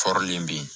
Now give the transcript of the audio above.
Fɔrilen ben